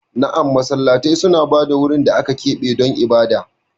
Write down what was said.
Na'am, Masallatai suna ba da wurin da aka keɓe don ibada.